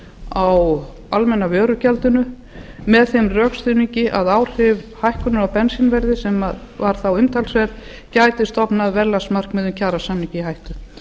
á almenna vörugjaldi með þeim rökstuðningi að áhrif hækkunar á bensínverði sem var þá umtalsverð gæti stofnað verðlagsmarkmiðum kjarasamninga í hættu